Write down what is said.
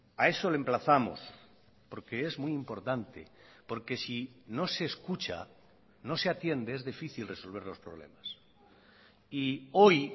a eso le emplazamos porque es muy importante porque si no se escucha no se atiende es difícil resolver los problemas y hoy